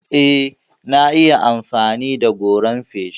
Eh, na iya amfani da goran feshi.